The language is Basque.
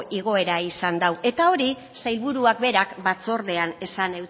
igoera izan dau eta hori sailburuak berak batzordean esan